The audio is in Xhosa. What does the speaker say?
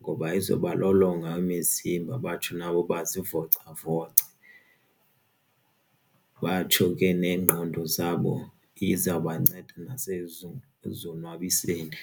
ngoba izoba lolonga imizimba batsho nabo bazivocavoce batsho ke neengqondo zabo izawubanceda nasekuzonwabiseni.